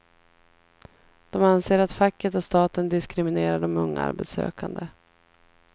De anser att facket och staten diskriminerar de unga arbetssökande.